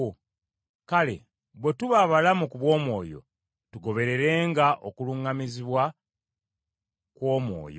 Kale bwe tuba abalamu ku bw’Omwoyo, tugobererenga okuluŋŋamizibwa kw’Omwoyo.